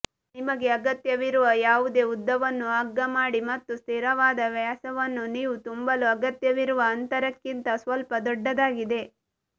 ನಿಮಗೆ ಅಗತ್ಯವಿರುವ ಯಾವುದೇ ಉದ್ದವನ್ನು ಹಗ್ಗ ಮಾಡಿ ಮತ್ತು ಸ್ಥಿರವಾದ ವ್ಯಾಸವನ್ನು ನೀವು ತುಂಬಲು ಅಗತ್ಯವಿರುವ ಅಂತರಕ್ಕಿಂತ ಸ್ವಲ್ಪ ದೊಡ್ಡದಾಗಿದೆ